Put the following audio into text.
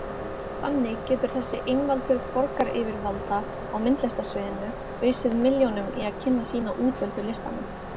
Þannig getur þessi einvaldur borgaryfirvalda á myndlistarsviðinu ausið milljónum í að kynna sína útvöldu listamenn.